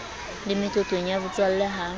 le meqoqong ya botswalle ha